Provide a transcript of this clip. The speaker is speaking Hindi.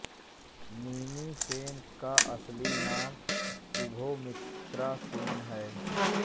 रिमी सेन का असली नाम शुभोमित्रा सेन है